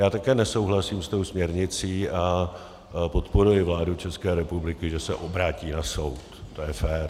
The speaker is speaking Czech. Já také nesouhlasím s tou směrnicí a podporuji vládu České republiky, že se obrátí na soud, to je fér.